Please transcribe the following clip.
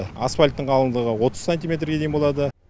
асфальттің қалыңдығы отыз сантиметрге дейін болады